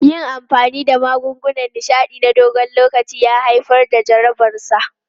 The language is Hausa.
Yin amfani da magungunan nishaɗi na dogon lokaci ya haifar da jarabarsa.